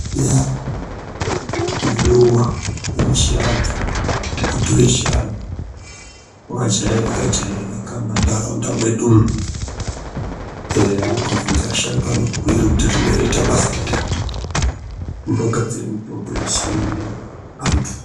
Ya iruwa rechiandu muti wechiantu wakajairika jairika mumakanyi mwedu umu ukabvunza asharuka vanokubhuyira kuti rinoite basa rei rinogadzira mishishonga yechiantu.